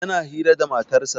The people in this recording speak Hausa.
Yana hira da matarsa